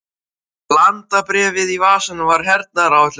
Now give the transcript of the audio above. Landabréfið í vasanum var hernaðaráætlun hans.